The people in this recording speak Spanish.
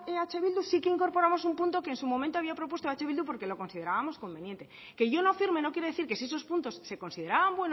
eh bildu sí que incorporamos un punto que en su momento había propuesto eh bildu porque lo considerábamos conveniente que yo no firme no quiere decir que si esos puntos se consideraban